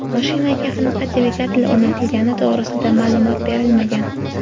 Mashinaga qanaqa dvigatel o‘rnatilgani to‘g‘risida ma’lumot berilmagan.